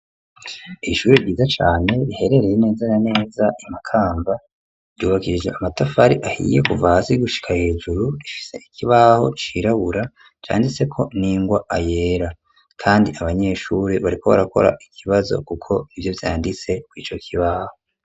Ishure ryiza cane, riherereye neza na neza i Makamba, ryubakishije amatafari ahiye kuva hasi gushika hejuru; rifise ikibaho cirabura, canditseko n'ingwa yera, kandi abanyeshuri bariko barakora ikibazo, kuko nivyo vyanditse kw'ico kibaho.